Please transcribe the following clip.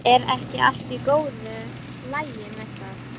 Er ekki allt í góðu lagi með það?